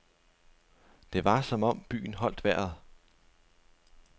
Det var som om byen holdt vejret.